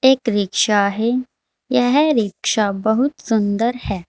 एक रिक्शा है यह रिक्शा बहुत सुंदर है।